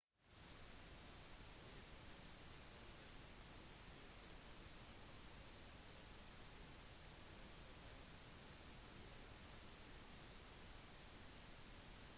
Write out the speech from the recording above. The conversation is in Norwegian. dyr har mange celler de spiser ting som fordøyes på innsiden flesteparten av dyr kan bevege seg